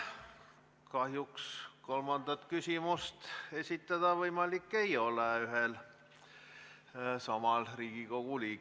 Kahjuks kolmandat küsimust Riigikogu liikmel esitada võimalik ei ole.